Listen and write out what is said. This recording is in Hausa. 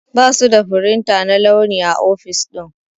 Basu da firinta na launi a ofis ɗin.